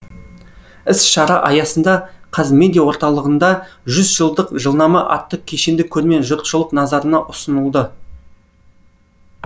іс шара аясында қазмедиа орталығында жүз жылдық жылнама атты кешенді көрме жұртшылық назарына ұсынылды